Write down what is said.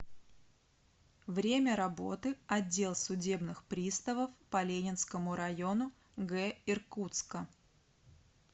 время работы отдел судебных приставов по ленинскому району г иркутска